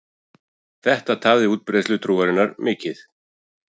Þetta tafði útbreiðslu trúarinnar mikið.